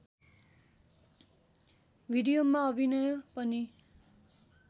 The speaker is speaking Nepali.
भिडियोमा अभिनय पनि